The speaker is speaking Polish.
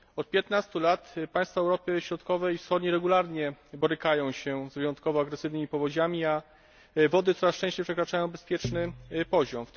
Od 15 lat państwa Europy Środkowej i Wschodniej regularnie borykają się z wyjątkowo agresywnymi powodziami, a wody coraz częściej przekraczają bezpieczny poziom.